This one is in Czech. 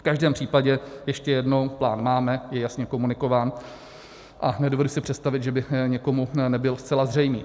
V každém případě ještě jednou, plán máme, je jasně komunikován a nedovedu si představit, že by někomu nebyl zcela zřejmý.